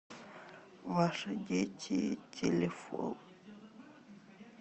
ваши дети телефон